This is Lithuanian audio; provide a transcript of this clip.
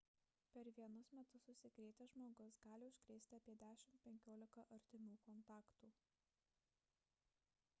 per vienus metus užsikrėtęs žmogus gali užkrėsti apie 10–15 artimų kontaktų